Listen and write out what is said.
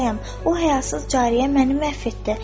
O həyasız cariyə məni məhv etdi.